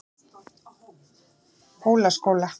Hólaskóla